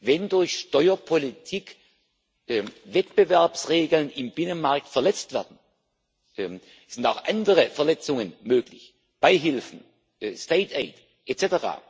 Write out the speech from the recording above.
Wenn durch Steuerpolitik Wettbewerbsregeln im Binnenmarkt verletzt werden es sind auch andere Verletzungen möglich Beihilfen, state aid